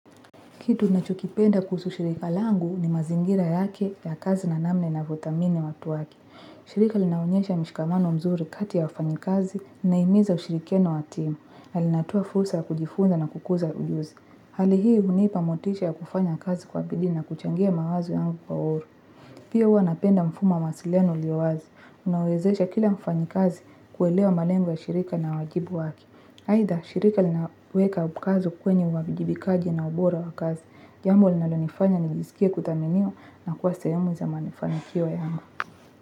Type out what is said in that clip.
Kitu nachokipenda kuhusu shirika langu ni mazingira yake ya kazi na namna inavyothamini watu wake. Shirika linaonyesha mishikamano mzuri kati ya wafanyi kazi na inahimiza ushirikiano wa timu. Na linatoa fursa kujifunza na kukuza ujuzi. Hali hii hunipa motisha ya kufanya kazi kwa bidii na kuchangia mawazo yangu kwa huru. Pia huwa napenda mfumo ya mawasiliano yaliyo wazi unaowezesha kila mfanyi kazi kuelewa malengo ya shirika na wajibu wake. Aidha shirika linaweka mkazo kwenye uwajibikaji na ubora wa kazi jambo linalonifanya nijiskie kuthaminiwa na kuwa sehemu za mafanikio yangu.